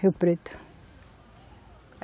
Rio Preto.